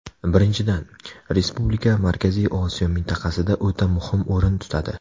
Birinchidan, respublika Markaziy Osiyo mintaqasida o‘ta muhim o‘rin tutadi.